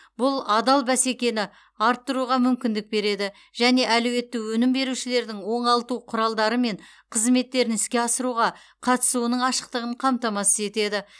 бұл адал бәсекені арттыруға мүмкіндік береді және әлеуетті өнім берушілердің оңалту құралдары мен қызметтерін іске асыруға қатысуының ашықтығын қамтамасыз етеді